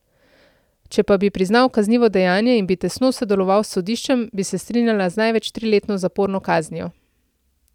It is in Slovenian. Če pa bi priznal kaznivo dejanje in bi tesno sodeloval s sodiščem, bi se strinjala z največ triletno zaporno kaznijo.